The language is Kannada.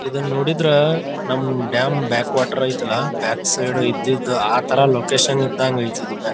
ಇದನ್ನ ನೋಡಿದ್ರೆ ನಮ್ ಡ್ಯಾಮ್ ಬ್ಯಾಕ್ವಾಟರ್ ಐತಲ್ಲಾ ಬ್ಯಾಕ್ ಸೈಡ್ ಇದ್ದಿದ್ದು ಆತರ ಲೊಕೇಶನ್ ಇದಂಗೆ ಐತಿದು ಬ್ಯಾಕ್ --